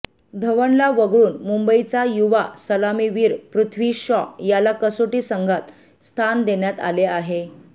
धवनला वगळून मुंबईचा युवा सलामीवीर पृथ्वी शॉ याला कसोटी संघात स्थान देण्यात आले आहे